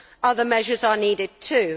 Other measures are needed too.